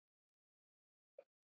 bætti konan við.